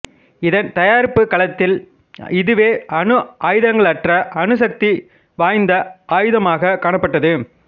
இதன் தயாரிப்புக் காலத்தில் இதுவே அணு ஆயுதங்களற்ற அதிக சக்தி வாய்ந்த ஆயுதமாகக் காணப்பட்டது